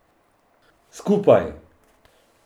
Skupaj!